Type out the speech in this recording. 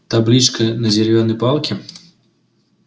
табличка на деревянной палке